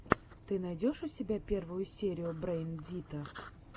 ты найдешь у себя первую серию брэйн дита